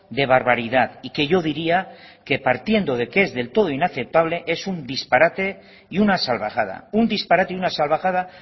de barbaridad y que yo diría que partiendo de que es del todo inaceptable es un disparate y una salvajada un disparate y una salvajada